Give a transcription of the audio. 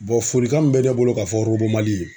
folikan min bɛ ne bolo k'a fɔ Mali ye